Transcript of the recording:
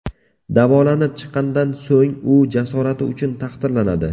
Davolanib chiqqanidan so‘ng u jasorati uchun taqdirlanadi.